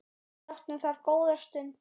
Við áttum þar góða stund.